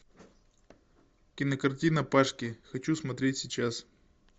кинокартина пашки хочу смотреть сейчас